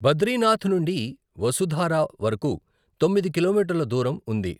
బద్రీనాథ్ నుండి వసుధారా వరకు తొమ్మిది కిలోమీటర్ల దూరం ఉంది.